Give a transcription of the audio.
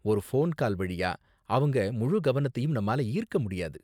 ஒரு phone call வழியா அவங்க முழு கவனத்தையும் நம்மால ஈர்க்க முடியாது.